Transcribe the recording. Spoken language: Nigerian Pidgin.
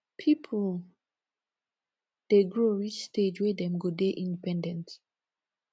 pipo dey grow reach stage wey dem go dey independent